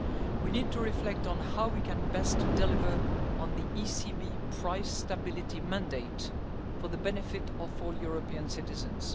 We need to reflect on how we can best deliver on the ECB price stability mandate for the benefit of all European